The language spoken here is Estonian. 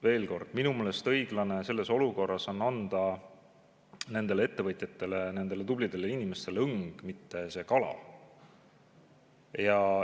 Veel kord: minu meelest on õiglane anda selles olukorras nendele ettevõtjatele, nendele tublidele inimestele õng, mitte kala.